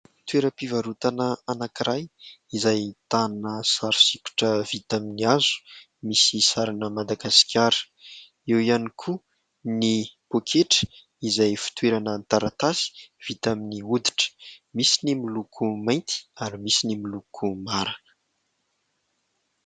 Toeram-pivarotana anankiray izay ahitana sary sikotra vita amin'ny hazo misy sarina Madagasikara. Eo ihany koa ny poketra izay fitoerana taratasy vita amin'ny hoditra. Misy ny miloko mainty ary misy ny miloko mara.